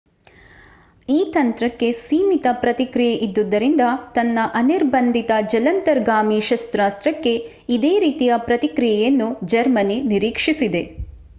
ಈ ತಂತ್ರಕ್ಕೆ ಸೀಮಿತ ಪ್ರತಿಕ್ರಿಯೆ ಇದ್ದುದರಿಂದ ತನ್ನ ಅನಿರ್ಬಂಧಿತ ಜಲಾಂತರ್ಗಾಮಿ ಶಸ್ತ್ರಾಸ್ತ್ರಕ್ಕೆ ಇದೇ ರೀತಿಯ ಪ್ರತಿಕ್ರಿಯೆಯನ್ನು ಜರ್ಮನಿ ನಿರೀಕ್ಷಿಸಿದೆ